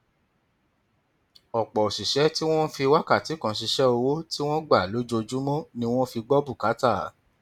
ọpọ òṣìṣẹ tí wọn ń fi wákàtí kan ṣiṣẹ owó tí wọn gbà lójoojúmọ ni wọn fi gbọ bùkátà